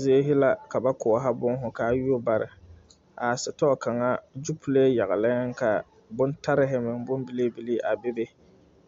Zie la ka ba koɔrɔ boma, ka a yuori bare, a setɔɔ kaŋa, zupile yagle la ka bontare bilibili bebe,a bebe